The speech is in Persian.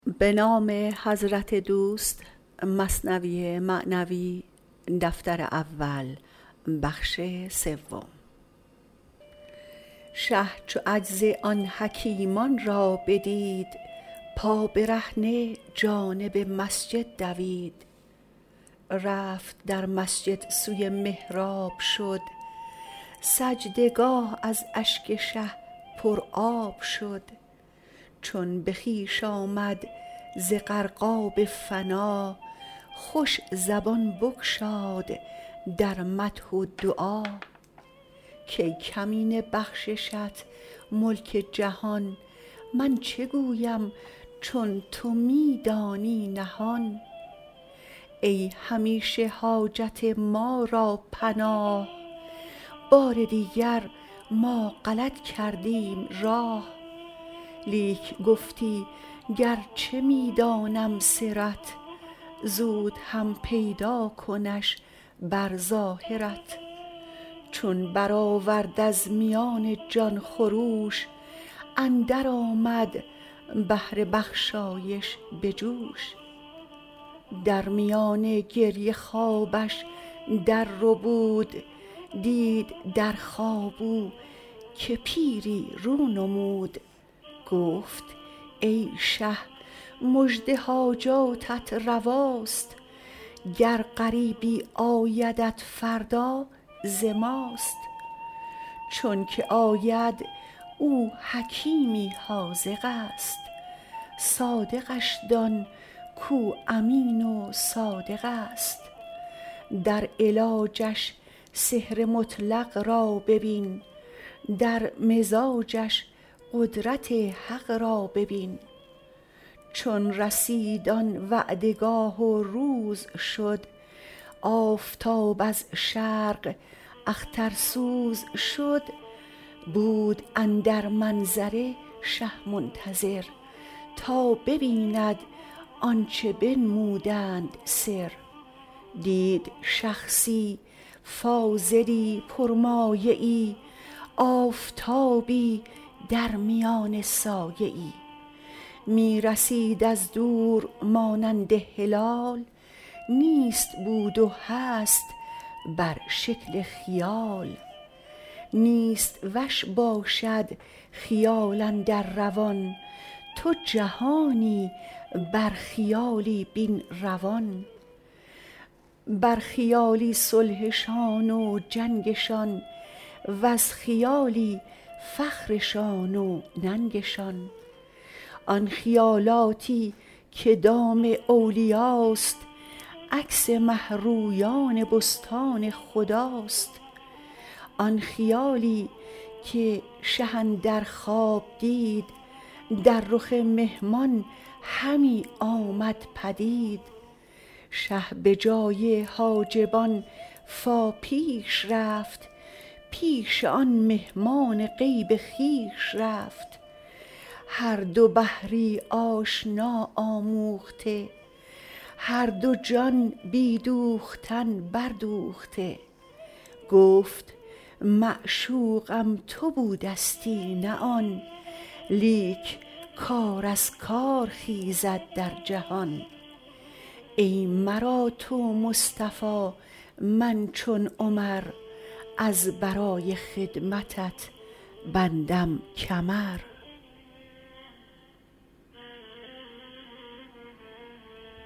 شه چو عجز آن حکیمان را بدید پابرهنه جانب مسجد دوید رفت در مسجد سوی محراب شد سجده گاه از اشک شه پر آب شد چون به خویش آمد ز غرقاب فنا خوش زبان بگشاد در مدح و دعا کای کمینه بخششت ملک جهان من چه گویم چون تو می دانی نهان ای همیشه حاجت ما را پناه بار دیگر ما غلط کردیم راه لیک گفتی گرچه می دانم سرت زود هم پیدا کنش بر ظاهرت چون برآورد از میان جان خروش اندر آمد بحر بخشایش به جوش در میان گریه خوابش در ربود دید در خواب او که پیری رو نمود گفت ای شه مژده حاجاتت رواست گر غریبی آیدت فردا ز ماست چونکه آید او حکیمی حاذقست صادقش دان کو امین و صادقست در علاجش سحر مطلق را ببین در مزاجش قدرت حق را ببین چون رسید آن وعده گاه و روز شد آفتاب از شرق اخترسوز شد بود اندر منظره شه منتظر تا ببیند آنچه بنمودند سر دید شخصی کاملی پر مایه ای آفتابی درمیان سایه ای می رسید از دور مانند هلال نیست بود و هست بر شکل خیال نیست وش باشد خیال اندر روان تو جهانی بر خیالی بین روان بر خیالی صلحشان و جنگشان وز خیالی فخرشان و ننگشان آن خیالاتی که دام اولیاست عکس مه رویان بستان خداست آن خیالی که شه اندر خواب دید در رخ مهمان همی آمد پدید شه به جای حاجبان فا پیش رفت پیش آن مهمان غیب خویش رفت هر دو بحری آشنا آموخته هر دو جان بی دوختن بر دوخته گفت معشوقم تو بودستی نه آن لیک کار از کار خیزد در جهان ای مرا تو مصطفی من چو عمر از برای خدمتت بندم کمر